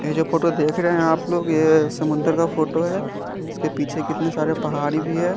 ये जो फोटो देख रहे है आप लोग ये समुंद्र का फोटो है इसके पीछे कितने सारे पहाड़ी भी है।